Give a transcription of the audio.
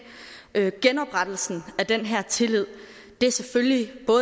genoprettelsen af den her tillid er selvfølgelig